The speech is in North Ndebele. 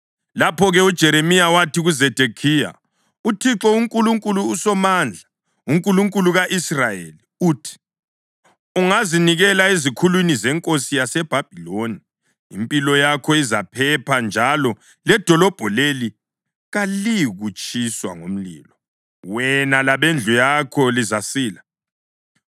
Lapho-ke uJeremiya wathi kuZedekhiya, “ UThixo uNkulunkulu uSomandla, uNkulunkulu ka-Israyeli, uthi: ‘Ungazinikela ezikhulwini zenkosi yaseBhabhiloni, impilo yakho izaphepha njalo ledolobho leli kaliyikutshiswa ngomlilo; wena labendlu yakho lizasila.